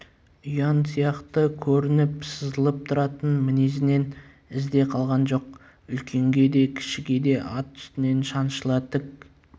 ұяң сияқты көрініп сызылып тұратын мінезінен із де қалған жоқ үлкенге де кішіге де ат үстінен шаншыла тік